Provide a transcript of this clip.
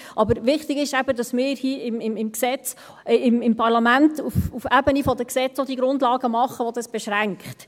Aber wichtig ist eben, dass wir hier im Parlament auf Ebene der Gesetze auch die Grundlagen schaffen, die dies beschränken.